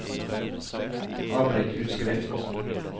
avbryt utskrift